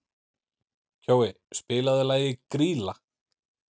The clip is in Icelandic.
Kjói, spilaðu lagið „Grýla“.